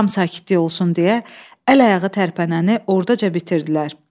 Tam sakitlik olsun deyə əl-ayağı tərpənəni orada bitirdilər.